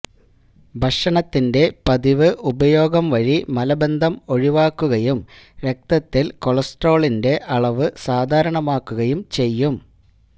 ഭക്ഷണത്തിന്റെ പതിവ് ഉപയോഗം വഴി മലബന്ധം ഒഴിവാക്കുകയും രക്തത്തിൽ കൊളസ്ട്രോളിന്റെ അളവ് സാധാരണമാക്കുകയും ചെയ്യും